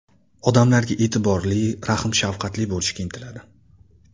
Odamlarga e’tiborli, rahm-shafqatli bo‘lishga intiladi.